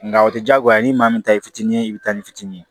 Nka o tɛ diyagoya ni maa min ta ye i fitinin ye i bɛ taa ni fitinin ye